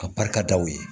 Ka barika da u ye